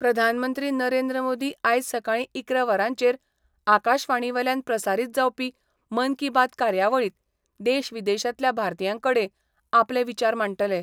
प्रधानमंत्री नरेंद्र मोदी आयज सकाळी इकरा वरांचेर आकाशवाणीवेल्यान प्रसारित जावपी मन की बात कार्यावळीत देश विदेशातल्या भारतीयांकडे आपले विचार मांडटले.